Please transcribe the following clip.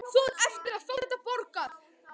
Þú átt eftir að fá þetta borgað!